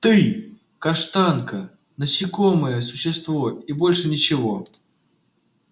ты каштанка насекомое существо и больше ничего